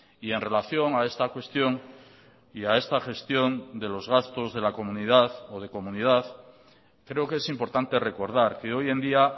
y en relación a esta cuestión y a esta gestión de los gastos de la comunidad o de comunidad creo que es importante recordar que hoy en día